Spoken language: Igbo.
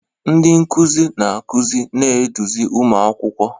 Ndị nkuzi na-akụzi na-eduzi ụmụ akwụkwọ.